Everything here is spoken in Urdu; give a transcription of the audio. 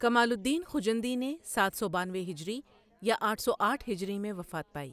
کمال الدین خجندی نے سات سو بانوے ہجری یا آٹھ سو آٹھ ہجری میں وفات پائی۔